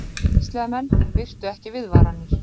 Vélsleðamenn virtu ekki viðvaranir